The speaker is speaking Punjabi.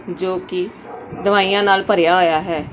ਜੋ ਕਿ ਦਵਾਈਆਂ ਨਾਲ ਭਰਿਆ ਹੋਇਆ ਹੈ।